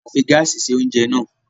A fi gáásì se oúnjẹ náà.